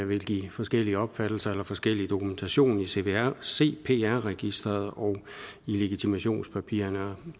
vil give forskellige opfattelser og forskellig dokumentation i cpr cpr registeret og i legitimationspapirerne og